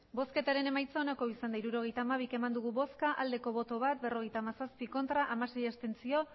hirurogeita hamabi eman dugu bozka bat bai berrogeita hamazazpi ez